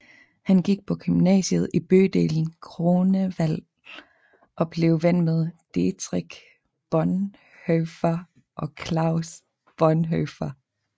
Han gik på gymnasiet i bydelen Grunewald og blev ven med Dietrich Bonhoeffer og Klaus Bonhoeffer